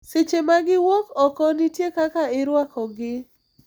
Seche ma giwuok oko, nitie kaka irwakogi.